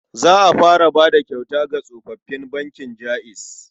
Za a fara bayar da kyauta ga kwastomomin bankin Jaiz.